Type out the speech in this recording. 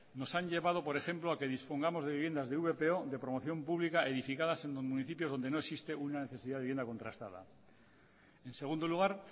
nos han llevado por ejemplo a que dispongamos de viviendas de vpo de promoción pública edificadas en los municipios donde no existe una necesidad de vivienda contrastada en segundo lugar